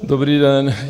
Dobrý den.